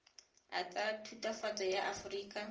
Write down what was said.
a tsa thutafatshe ya aforika